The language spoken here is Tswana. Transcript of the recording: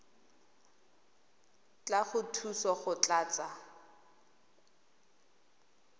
tla go thusa go tlatsa